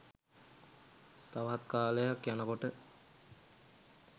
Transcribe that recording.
තවත් කාලයක් යනකොට